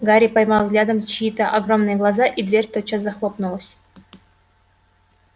гарри поймал взглядом чьи-то огромные глаза и дверь тотчас захлопнулась